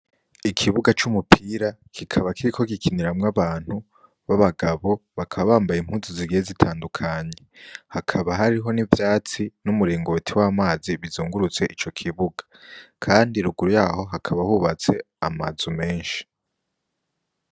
Ikibuga c'umupira kikaba kiriko gikiniramwo abantu b'abagabo, bakaba bambaye impuzu zigiye zitandukanye, hakaba hariho n'ivyatsi n'umuringoti w'amazi bizungurutse ico kibuga, kandi ruguru y'aho hakaba hubatse amazu menshi.